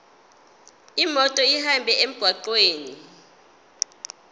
imoto ihambe emgwaqweni